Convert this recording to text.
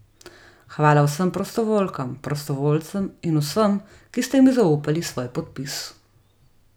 Hvala vsem prostovoljkam, prostovoljcem in vsem, ki ste mi zaupali svoj podpis!